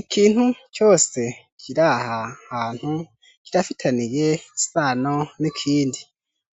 Ikintu cose kiraha hantu kirafitaniye isano n'ikindi